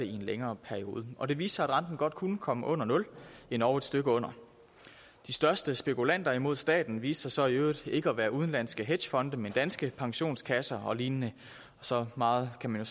en længere periode og det viste sig at renten godt kunne komme under nul endog et stykke under de største spekulanter mod staten viste sig så i øvrigt ikke at være udenlandske hedgefonde men danske pensionskasser og lignende så meget kan man